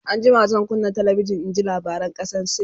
an jima zan kunna talabijan in ji labaran kasan sin